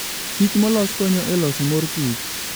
Kich molos konyo e loso mor kich.